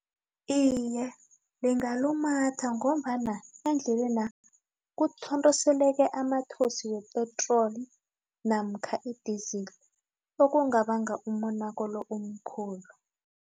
Iye, ingalumatha ngombana endlelena kuthontiseleke amathosi wepetroli namkha idizili okungabanga umonakalo omkhulu.